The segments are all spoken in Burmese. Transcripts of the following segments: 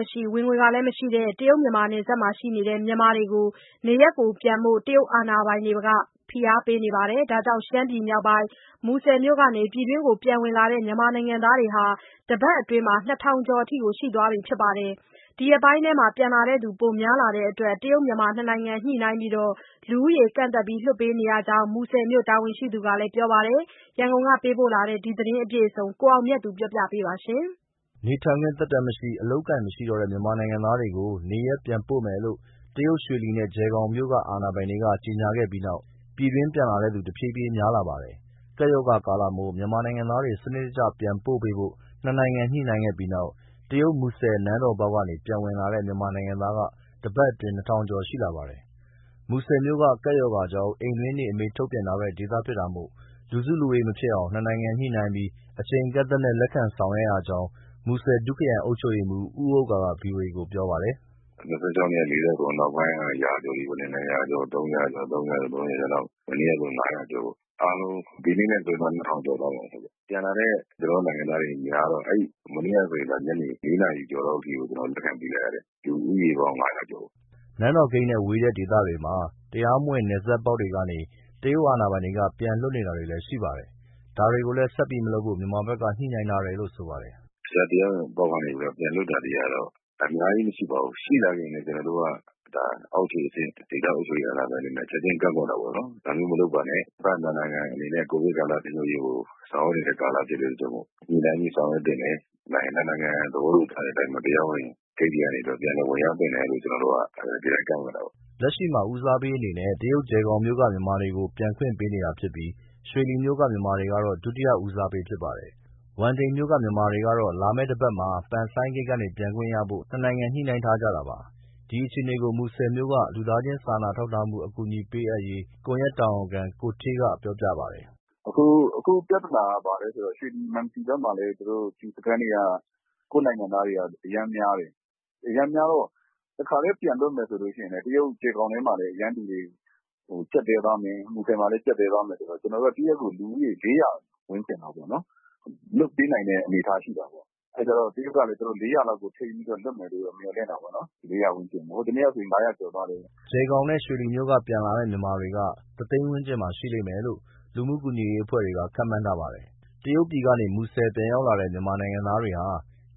မရှိ၊ ဝင်ငွေမရှိတဲ့ တရုတ်နယ်စပ်မြို့တွေက မြန်မာတွေကို နေရပ်ပြန်ဖို့ တရုတ်အာဏာပိုင်တွေက ဖိအားပေးပြီးတဲ့နောက် ရှမ်းပြည်မြောက်ပိုင်း၊ မူဆယ်မြို့ကနေ ပြည်တွင်းပြန်ဝင်လာတဲ့ မြန်မာနိုင်ငံသားဟာ တပတ်အတွင်းမှာ ၂၀၀၀ ကျော်ရှိသွားပြီဖြစ်ပါတယ်။ အခုရက်ပိုင်းထဲမှာ ပြန်လာတဲ့သူက ပိုများလာတဲ့အတွက် နှစ်နိုင်ငံညှိနှိုင်းပြီး လူဦးရေကန့်သတ် လွှတ်ပေးနေရကြောင်း မူဆယ်မြို့တာဝန်ရှိသူက ပြောပါတယ်။ ရန်ကုန်က ပေးပို့လာတဲ့ ဒီသတင်းအပြည့်အစုံကို ကိုအောင်မြတ်သူပြောပြမှာပါ။ နေထိုင်ခွင့်သက်တမ်းမရှိ၊ အလုပ်အကိုင်မရှိတော့တဲ့ မြန်မာနိုင်ငံသားတွေကို နေရပ်ပြန်ပို့မယ်လို့ တရုတ်ရွှေလီနဲ့ ကျယ်ဂေါင်မြို့ အာဏာပိုင်တွေက ကြေညာခဲ့ပြီးနောက် ပြည်တွင်းပြန်လာတဲ့သူ တဖြည်းဖြည်း များလာပါတယ်။ ကပ်ရောဂါကာလမို့ မြန်မာနိုင်ငံသားတွေကို စနစ်ကျ ပြန်ပို့ပေးဖို့ နှစ်နိုင်ငံညှိနှိုင်းခဲ့ပြီးနောက် မူဆယ်နန်းတော်ပေါက်ကနေ ပြန်ဝင်လာတဲ့ မြန်မာနိုင်ငံသားက တပတ်အတွင်းမှာ ၂၀၀၀ ကျော်ရှိလာပါတယ်။ မူဆယ်မြို့က ကပ်ရောဂါကြောင့် အိမ်တွင်းနေအမိန့် ထုတ်ပြန်ထားတဲ့ ဒေသဖြစ်တာမို့ လူစုလူဝေးမဖြစ်အောင် နှစ်နိုင်ငံညှိနှိုင်းပြီး အချိန်အကန့်အသတ်နဲ့ လက်ခံဆောင်ရွက်ရကြောင်း မူဆယ်ဒုခရိုင်အုပ်ချုပ်ရေးမှူး ဦးဥက္ကာက ဗွီအိုအေကို ပြောပါတယ်။ “ ၂၆ ရက်က ၄၇ ယောက်၊ နောက်ပိုင်းက ရာကျော်တွေ ၂၀၀ ကျော်၊ ၃၀၀ ကျော်၊ မနေ့ကဆို ၅၀၀ ကျော်။ အားလုံး ဒီနေ့နဲ့ဆို ၂၀၀၀ ကျော်သွားမှာပေါ့။ ပြန်လာတဲ့ ကျနော်တို့နိုင်ငံသားတွေများတော့ မနေ့ကဆို ညနေ ၄နာရီကျော်လောက်အထိကို လက်ခံပေးခဲ့ရတယ်။ လူဦးရေပေါင်း ၅၀၀ ကျော်ကို။” နန်းတော်ဂိတ်နဲ့ ဝေးတဲ့ဒေသတွေမှာ တရားမဝင် နယ်စပ်ပေါက်တွေကနေ တရုတ်အာဏာပိုင်တွေက ပြန်လွှတ်နေတာတွေလည်း ရှိပါတယ်။ ဒါတွေကိုလည်း ဆက်ပြီးမလုပ်ဖို့ မြန်မာဘက်က ညှိနှိုင်းထားတယ်လို့ဆိုပါတယ်။ “ တရားမဝင်ပေါက်တွေကနေ ပြန်လွှတ်တာတွေကတော့ အများကြီးမရှိပါဘူး၊ ရှိလာခဲ့ရင်လည်း ကျနော်တို့က အောက်ခြေအဆင့် ဒေသအာဏာပိုင်တွေနဲ့ ချက်ချင်းကန့်ကွက်တာပေါ့နော်။ ဒါမျိုးမလုပ်ပါနဲ့ နှစ်ဘက်နှစ်နိုင်ငံအနေနဲ့ ကိုဗစ်ထိန်းချုပ်ရေးကို ဆောင်ရွက်နေတဲ့ကာလမို့ ညှိနှိုင်းပြီး ဆောင်ရွက်သင့်တယ်၊ နှစ်နိုင်ငံ သဘောတူထားတဲ့အတိုင်းပဲ တရားဝင်ဂိတ်တွေကနေ ပြန်လည်ဝင်ရောက်သင့်တယ်လို့ ကျနော်တို့က ကန့်ကွက်တာပေါ့။” လက်ရှိမှာ ဦးစားပေးအနေနဲ့ တရုတ်ကျယ်ဂေါင်မြို့က မြန်မာတွေကို ပြန်ခွင့်ပေးနေတာဖြစ်ပြီး၊ ရွှေလီမြို့က မြန်မာတွေကတော့ ဒုတိယဦးစားပေး ဖြစ်ပါတယ်။ ဝမ်တိန်မြို့က မြန်မာတွေကတော့ လာမယ့်တပတ်မှာ ပန်ဆိုင်းဂိတ်ကနေ ပြန်ခွင့်ရဖို့ နှစ်နိုင်ငံညှိနှိုင်းထားကြတာပါ။ ဒီအခြေအနေကို မူဆယ်မြို့ လူသားချင်း စာနာထောက်ထားမှု အကူအညီပေးအပ်ရေး ကွန်ရက်တာဝန်ခံ ကိုဌေးက ပြောပြပါတယ်။ “ အခုပြဿနာက ဘာလဲဆိုတော့ ရွှေလီ၊ မန်စီဘက်မှာလည်း ကွာရန်တင်းစခန်းတွေက ကိုယ့်နိုင်ငံသားတွေက အရမ်းများတယ်၊ အရမ်းများတော့ တခါတည်း ပြန်လွှတ်မယ်ဆိုရင် တရုတ်ကျယ်ဂေါင်ထဲမှာလည်း အရမ်းလူတွေ ကျပ်တည်းသွားမယ်၊ မူဆယ်မှာလည်း ကျပ်တည်းသွားမယ်ဆို ကျနော်တို့က တရက်ကို လူဦးရေ ၄၀၀ ဝန်းကျင်လောက်ပေါ့နော် လုပ်ပေးနိုင်တဲ့ အနေအထား ရှိတာပေါ့။ အဲဒီတော့ တရုတ်ကလည်း ၄၀၀ လောက်ထိန်းပြီးလွှတ်မယ်လို့ မျှော်လင့်တာပေါ့နော်။ ဟိုနေ့ကဆို ၅၀၀ ကျော်သွားတယ်။” ကျယ်ဂေါင်နဲ့ ရွှေလီမြို့က ပြန်လာမယ့်မြန်မာတွေက ၁၀၀၀၀၀ ဝန်းကျင်မှာရှိလိမ့်မယ်လို့ လူမှုကူညီရေး အဖွဲ့တွေက ခန့်မှန်းထားပါတယ်။ တရုတ်ပြည်ကနေ မူဆယ်ပြန်ရောက်လာတဲ့ မြန်မာနိုင်ငံသားတွေဟာ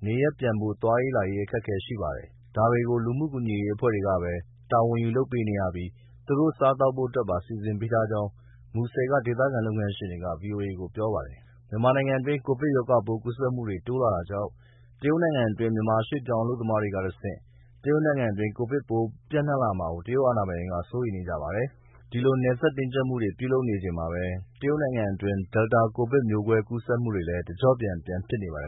နေရပ်ပြန်ဖို့ သွားရေးလာရေး အခက်အခဲရှိပါတယ်။ ဒါတွေကို လူမှုကူညီရေးအဖွဲ့တွေကပဲ တာဝန်ယူလုပ်ပေးနေရပြီး သူတို့စားသောက်ဖို့အတွက်ပါ စီစဉ်ပေးထားကြောင်း မူဆယ်က ဒေသခံလုပ်ငန်းရှင်တွေက ဗွီအိုအေကို ပြောပါတယ်။ မြန်မာနိုင်ငံတွင်းကိုဗစ်ရောဂါပိုးကူးစက်မှုတွေတိုးလာတာကြောင့် တရုတ်နိုင်ငံတွင်း မြန်မာရွေ့ပြောင်းအလုပ်သမားတွေကတဆင့် တရုတ်နိုင်ငံတွင်း ကိုဗစ်ပိုး ပိုပြန်နှံလာမှာ တရုတ်အာဏာပိုင်တွေကစိုးရိမ်နေပါတယ်။ ဒီလို နယ်စပ်တင်းကြပ်မှုတွေလုပ်နေချိန်မှာပဲ တရုတ်နိုင်ငံတွင်း Delta ကိုဗစ်မျိုးကွဲကူးစက်မှုတွေလည်း တကျော့ပြန် ပြန်ဖြစ်နေပါတယ်